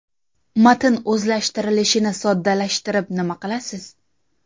Matn o‘zlashtirilishini soddalashtirib nima qilasiz?